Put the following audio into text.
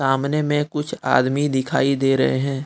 सामने में कुछ आदमी दिखाई दे रहे हैं।